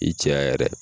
I cɛya yɛrɛ